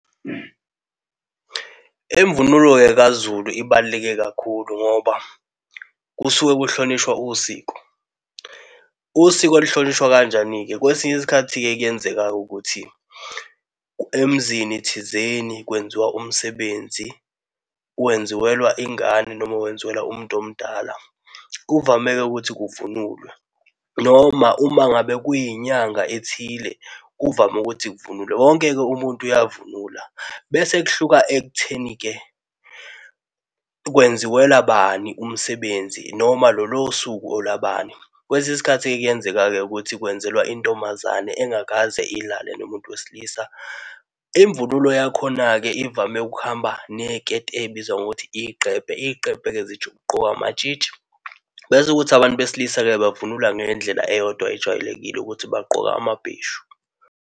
Imvunulo-ke kaZulu ibaluleke kakhulu ngoba kusuke kuhlonishwa usiko. Usiko luhlonishwa kanjani-ke? Kwesinye isikhathi-ke kuyenzeka ukuthi emizini thizeni kwenziwa umsebenzi wenziwelwa ingane noma wenzilwelwa umuntu omdala. Kuvame ukuthi kuvunulwe, noma, uma ngabe kuyinyanga ethile kuvame ukuthi kuvunulwe, wonke-ke umuntu uyavunula bese kuhluka ekutheni-ke kwenziwela bani umsebenzi noma lolo suku olabani. Kwesinye isikhathi kuyenzeka-ke ukuthi kwenzelwa intombazane engakaze ilale nomuntu wesilisa. Imvunulo yakhona-ke ivame ukuhamba neziketi ezibizwa ngokuthi izigqebhe. Izigqebhe-ke zigqokwa amatshitshi, bese ukuthi abantu besilisa-ke bavunula ngendlela eyodwa ejwayelekile ukuthi bagqoke amabheshu.